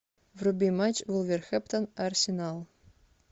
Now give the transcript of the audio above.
вруби матч вулверхэмптон арсенал